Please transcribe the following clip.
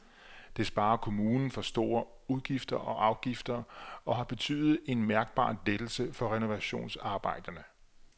Det sparer kommunen for store udgifter og afgifter og har betydet en mærkbar lettelse for renovationsarbejderne.